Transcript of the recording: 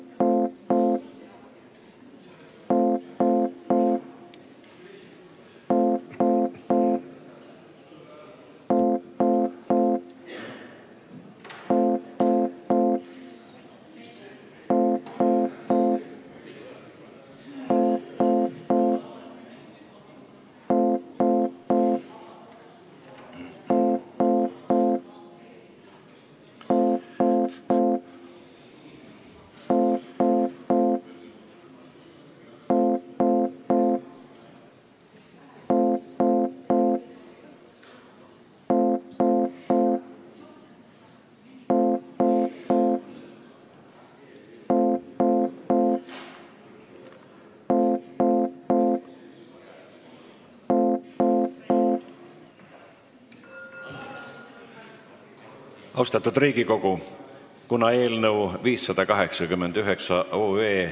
Vaatamata sellele panen hääletusele Eesti Vabaerakonna fraktsiooni esitatud Riigikogu otsuse "Ettepaneku tegemine Vabariigi Valitsusele seoses tulumaksu osalise suunamisega vabaühendustele maksumaksja poolt" eelnõu 589.